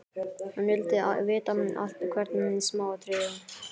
Hún vildi vita allt, hvert smáatriði.